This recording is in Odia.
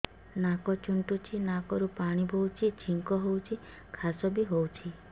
ନାକ ଚୁଣ୍ଟୁଚି ନାକରୁ ପାଣି ବହୁଛି ଛିଙ୍କ ହଉଚି ଖାସ ବି ହଉଚି